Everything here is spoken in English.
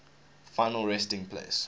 final resting place